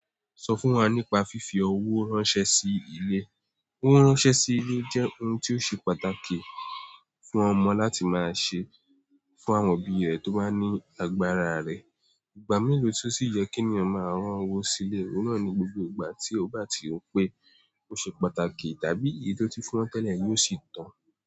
Sọ fún wa nípa fífi owó ránṣẹ́ sí ilé. Owó ránṣẹ́ sí ilé jẹ́ ohun tí ó ṣe pàtàkì fún ọmọ láti máa ṣe fún àwọn òbí rẹ̀ tó bá ní agbára rẹ̀. Ìgbà mélòó tí ó sì yẹ kí ènìyàn máa rán owó sí ilé? Óun náà ni gbogbo ìgbà tí ó bá ti rò pé ó ṣe pàtàkì tàbí èyí tí ó ti fún wọn tẹ́lẹ̀ yóò sì tàn.